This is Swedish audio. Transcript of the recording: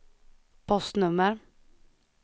postnummer